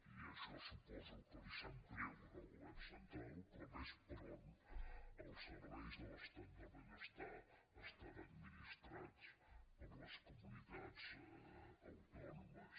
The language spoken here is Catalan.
i això suposo que li sap greu al govern central però ves per on els serveis de l’estat del benestar estan administrats per les comunitats autònomes